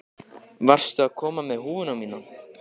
Varstu að koma með húfuna mína?